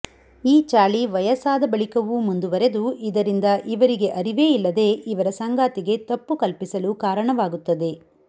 ಈ ಚಾಳಿ ವಯಸ್ಸಾದ ಬಳಿಕವೂ ಮುಂದುವರೆದು ಇದರಿಂದ ಇವರಿಗೆ ಅರಿವೇ ಇಲ್ಲದೇ ಇವರ ಸಂಗಾತಿಗೆ ತಪ್ಪು ಕಲ್ಪಿಸಲು ಕಾರಣವಾಗುತ್ತದೆ